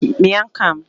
Others